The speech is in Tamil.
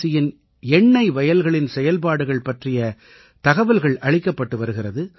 சியின் எண்ணை வயல்களின் செயல்பாடுகள் பற்றிய தகவல்கள் அளிக்கப்பட்டு வருகிறது